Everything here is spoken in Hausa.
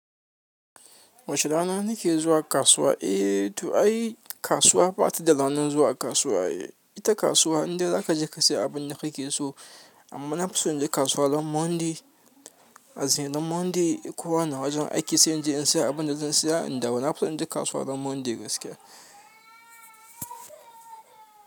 WACE RAN ANKE ZUWA KASUWA. Eh to ai kasuwa ba ta da ranar zuwa kasuwa. Ita kasuwa indai zaka je ka siya abun da kake so. Amma na fi so in je kasuwa ranar Monday. As in ran Monday kowa na wajen aiki sai in je in sayi abin da zan saya in dawo. Na fi so in je kasuwa ranar Monday gaskiya.